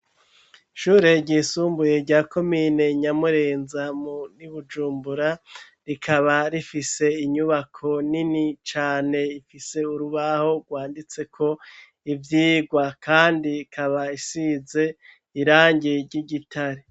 Ishure ryisumbuye rya komine nyamurenza mu ino i bujumbura rikaba rifise inyubako nini cane ifise urubaho rwanditse ko ibyigwa kandi ikaba isize irangi ry'igitare.